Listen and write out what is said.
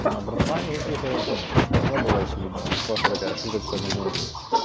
на братва никаких ну прыжков не было очевидно это просто такая шуточка в моменте